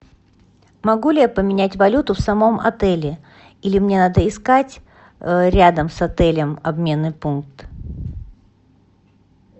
могу ли я поменять валюту в самом отеле или мне надо искать рядом с отелем обменный пункт